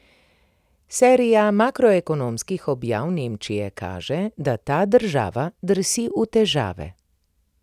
Serija makroekonomskih objav Nemčije kaže, da ta država drsi v težave.